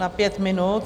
Na pět minut.